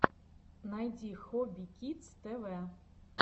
найди хобби кидс тэ вэ